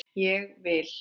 Ég vil!